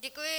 Děkuji.